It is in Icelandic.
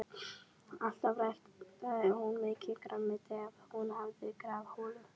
Alltaf ræktaði hún mikið grænmeti ef hún hafði garðholu.